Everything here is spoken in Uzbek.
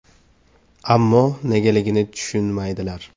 Ammo negaligini tushunmaydilar.